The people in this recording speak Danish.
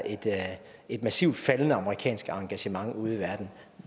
et massivt faldende amerikansk engagement ude i verden